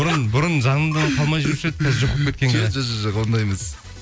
бұрын жаңында қалмай жүруші еді қазір жоқ болып кеткенге жоқ ондай емес